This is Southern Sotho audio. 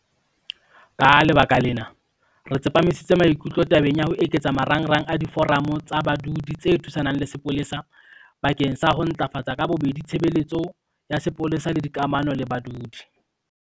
Ka lebaka lena, re tsepamisitse maikutlo tabeng ya ho eketsa marangrang a Diforamo tsa Badudi tse Thusanang le Sepolesa bakeng sa ho ntlafatsa ka bobedi tshebeletso ya sepolesa le dikamano le badudi.